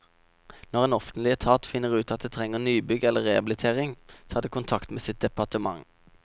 Når en offentlig etat finner ut at det trenger nybygg eller rehabilitering, tar det kontakt med sitt departement.